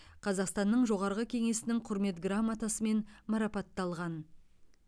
қазақстанның жоғарғы кеңесінің құрмет грамотасымен марапатталған